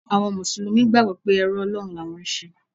Àwọn Mùsùlùmí gbàgbọ́ pé ẹrú Ọlọ́run ni àwọn ń ṣe.